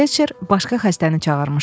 Felçer başqa xəstəni çağırmışdı.